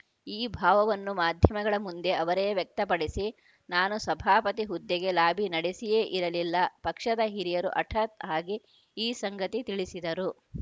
ಈ ಭಾವವನ್ನು ಮಾಧ್ಯಮಗಳ ಮುಂದೆ ಅವರೇ ವ್ಯಕ್ತಪಡಿಸಿ ನಾನು ಸಭಾಪತಿ ಹುದ್ದೆಗೆ ಲಾಬಿ ನಡೆಸಿಯೇ ಇರಲಿಲ್ಲ ಪಕ್ಷದ ಹಿರಿಯರು ಹಠಾತ್‌ ಆಗಿ ಈ ಸಂಗತಿ ತಿಳಿಸಿದರು